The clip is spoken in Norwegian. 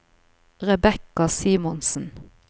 Rebecca Simonsen